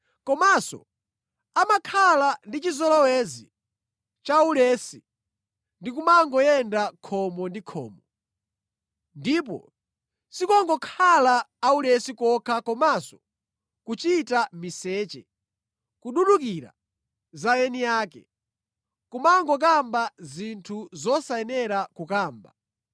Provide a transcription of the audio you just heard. Komanso amakhala ndi chizolowezi cha ulesi ndi kumangoyenda khomo ndi khomo. Ndipo sikungokhala aulesi kokha komanso kuchita miseche, kududukira za eni ake, kumangokamba zinthu zosayenera kukamba.